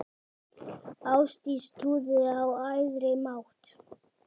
Ástdís trúði á æðri mátt.